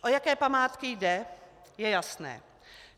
O jaké památky jde, je jasné.